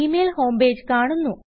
G mail home page കാണുന്നു